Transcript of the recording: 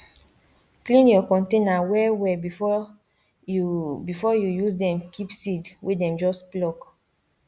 clean your container well well before you before you use dem keep seed wey dem just pluck